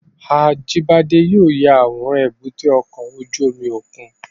Ajibade yóò ya aworan èbúté ọkọ ojú omi okun